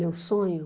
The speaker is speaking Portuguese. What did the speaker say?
Meu sonho?